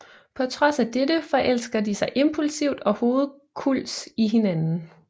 På trods af dette forelsker de sig impulsivt og hovedkulds i hinanden